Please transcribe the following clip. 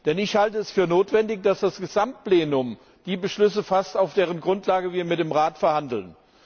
Denn ich halte es für notwendig, dass das gesamte Plenum die Beschlüsse fasst, auf deren Grundlage wir mit dem Rat verhandeln.